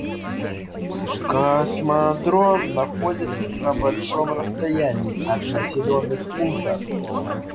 космодром находится на большом расстоянии от населённых пунктов